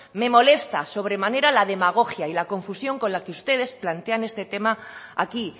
me molesta sobremanera la demagogia y la confusión con la que ustedes plantean este tema aquí